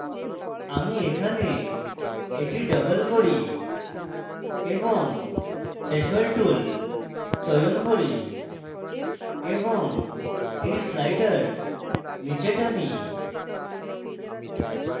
আমি এখানে এটি double করি এবং threshold tool চয়ন করি এবং এই slider নীচে টানি